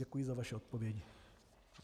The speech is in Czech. Děkuji za vaše odpovědi.